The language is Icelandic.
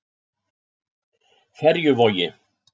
Ferjuvogi